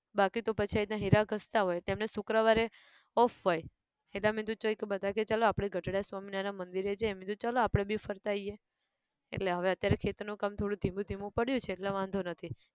બાકી તો પછી આ રીતના હીરા ઘસતા હોય તો એમને શુક્રવારે off હોય એદા મેં દુ ચૈ ક બધા કેહ ચલો ગઢડા સ્વામિનારાયણ મંદિરે જઈએ મેં કીધું ચલો આપણે બી ફરતા આયીએ એટલે હવે અત્યારે ખેતર નું કામ થોડું ધીમું ધીમું પડ્યું છે એટલે વાંધો નથી